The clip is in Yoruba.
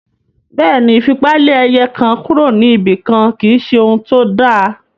Bẹ́ẹ̀ ni, ìfipá lé ẹ̀yà kan kúrò níbi kan kì í ṣe ohun tó dáa